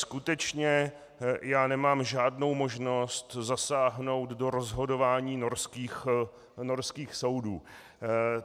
Skutečně já nemám žádnou možnost zasáhnout do rozhodování norských soudů.